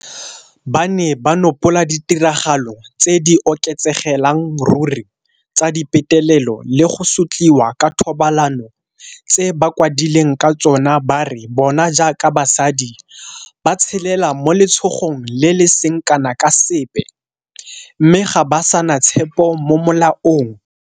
Ba ne ba nopola ditiragalo tse di oketsegelang ruri tsa dipetelelo le go sotliwa ka thobalano tse bakwadileng ka tsona ba re bona jaaka basadi ba tshelela mo letshogong le le seng kana ka sepe, mme ga ba sa na tshepo mo molaong.